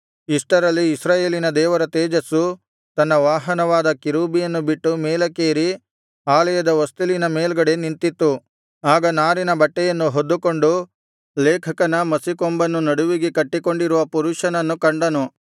ಇಷ್ಟರಲ್ಲಿ ಇಸ್ರಾಯೇಲಿನ ದೇವರ ತೇಜಸ್ಸು ತನ್ನ ವಾಹನವಾದ ಕೆರೂಬಿಯನ್ನು ಬಿಟ್ಟು ಮೇಲಕ್ಕೇರಿ ಆಲಯದ ಹೊಸ್ತಿಲಿನ ಮೇಲ್ಗಡೆ ನಿಂತಿತ್ತು ಆಗ ನಾರಿನ ಬಟ್ಟೆಯನ್ನು ಹೊದ್ದುಕೊಂಡು ಲೇಖಕನ ಮಸಿಕೊಂಬನ್ನು ನಡುವಿಗೆ ಕಟ್ಟಿಕೊಂಡಿರುವ ಪುರುಷನನ್ನು ಕಂಡನು